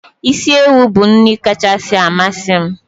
Isi ewu bụ nri kacha amasị m.